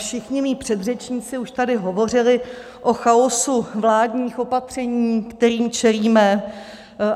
Všichni mí předřečníci už tady hovořili o chaosu vládních opatření, kterým čelíme.